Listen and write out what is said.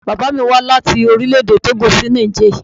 Bàbá mí wá láti Orílẹ̀-èdè Tógò sí Niger.